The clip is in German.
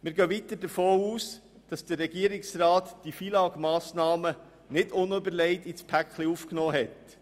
Wir gehen weiter davon aus, dass der Regierungsrat diese FILAG-Massnahmen nicht unüberlegt in das Paket aufgenommen hat.